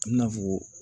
I bina fɔ ko